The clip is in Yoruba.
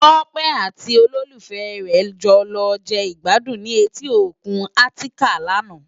Tope àti ólólúfè re jò lò je igbàdún ni éti ókún Atikàn làná